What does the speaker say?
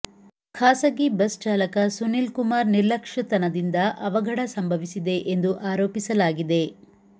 ಖಾಸಗಿ ಬಸ್ ಚಾಲಕ ಸುನೀಲ್ಕುಮಾರ್ ನಿರ್ಲಕ್ಷತನದಿಂದ ಅವಘಡ ಸಂಭವಿಸಿದೆ ಎಂದು ಆರೋಪಿಸಲಾಗಿದೆ